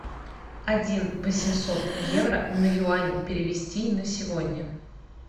один восемьсот евро на юани перевести на сегодня